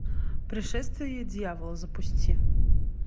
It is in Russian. пришествие дьявола запусти